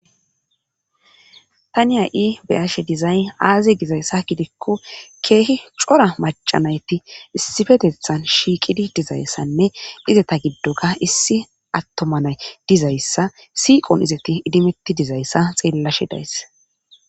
tani hay7i beyashe dizay aaze gizayssa gidikko keehi cora macanayti issifetethan shiiqidi dizayssanne izeta giddon issi attomanay dizayssa siiqon izeti idimetti dizayssa xeellashe days